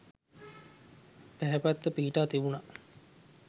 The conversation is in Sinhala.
පැහැපත්ව පිහිටා තිබුණා.